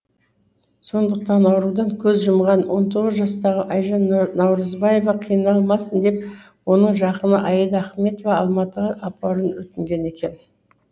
сондықтан аурудан көз жұмған он тоғыз жастағы айжан наурызбаева қиналмасын деп оның жақыны аида ахметова алматыға апаруын өтінген екен